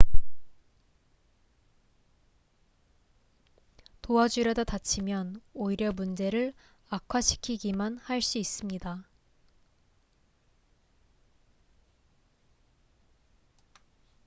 도와주려다 다치면 오히려 문제를 악화시키기만 할 수 있습니다